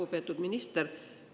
Lugupeetud minister!